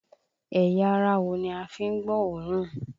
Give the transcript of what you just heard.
Ẹ̀yà ara wo ni a fi ń gbọ́ òórùn?